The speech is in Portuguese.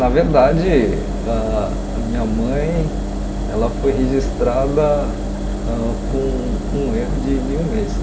Na verdade, ah a minha mãe ela foi registrada ãh com um erro de de um mês.